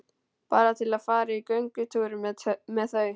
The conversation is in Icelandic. Bara til að fara í göngutúr með þau.